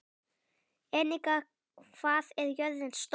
Enika, hvað er jörðin stór?